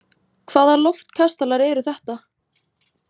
Hvaða loftkastalar eru þetta?